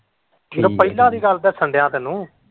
ਪਹਿਲਾਂ ਦੀ ਗੱਲ ਦਸੱਣ ਦਿਆ ਤੈਨੂੰ।